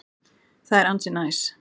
Það er ansi næs.